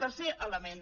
tercer element